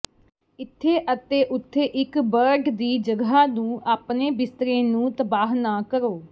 ਇੱਥੇ ਅਤੇ ਉਥੇ ਇੱਕ ਬਰਡ ਦੀ ਜਗ੍ਹਾ ਨੂੰ ਆਪਣੇ ਬਿਸਤਰੇ ਨੂੰ ਤਬਾਹ ਨਾ ਕਰੋ